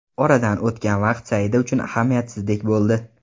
Oradan o‘tgan vaqt Saida uchun ahamiyatsizdek bo‘ldi.